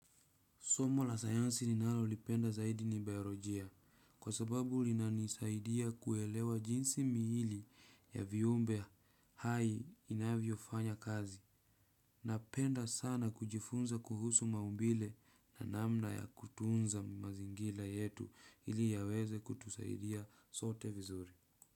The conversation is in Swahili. Somo la sayansi ninalolipenda zaidi ni baiolojia kwa sababu linanisaidia kuelewa jinsi miili ya viumbe hai inavyofanya kazi. Napenda sana kujifunza kuhusu maumbile na namna ya kutunza mazingira yetu ili yaweze kutusaidia sote vizuri.